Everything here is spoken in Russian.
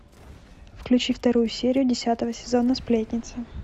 включи вторую серию десятого сезона сплетница